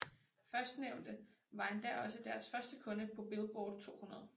Førstnævnte var endda også deres første kunde på Billboard 200